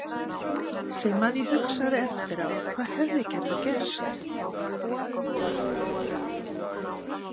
Sem að ég hugsaði eftir á, hvað hefði getað gerst?